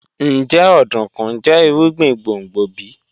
Njẹ ọdunkun jẹ irugbin gbongbo bi?